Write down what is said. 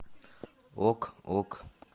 ок ок